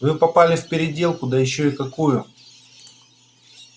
вы попали в переделку да ещё в какую